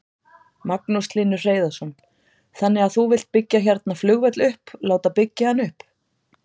Magnús Hlynur Hreiðarsson: Þannig að þú vilt byggja hérna flugvöll upp, láta byggja hann upp?